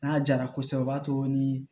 N'a jara kosɛbɛ o b'a to ni